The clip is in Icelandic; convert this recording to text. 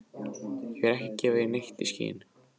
Ég er ekki að gefa neitt í skyn.